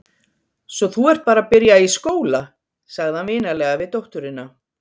Svo þú ert bara að byrja í skóla, sagði hann vinalega við dótturina.